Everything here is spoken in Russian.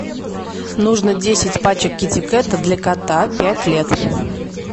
нужно десять пачек китикета для кота пять лет